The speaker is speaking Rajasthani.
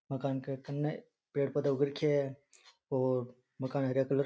मकान के कन्ने पेड़ पौधे उग रखया है और मकान हरिया कलर --